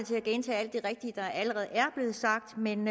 til at gentage alt det rigtige der allerede er blevet sagt men